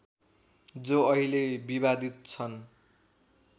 जो अहिले विवादित छन्